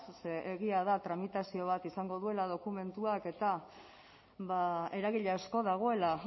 zeren egia da tramitazio bat izango duela dokumentuak eta eragile asko dagoela